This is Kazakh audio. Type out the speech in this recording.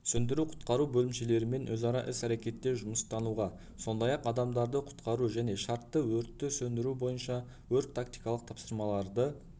сөндіру-құтқару бөлімшелерімен өзара іс-әрекетте жұмыстануға сондай-ақ адамдарды құтқару және шартты өртті сөндіру бойынша өрт-тактикалық тапсырмаларды